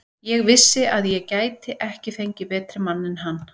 Ég vissi að ég gæti ekki fengið betri mann en hann.